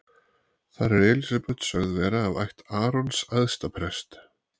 Þar er Elísabet sögð vera af ætt Arons æðsta prests.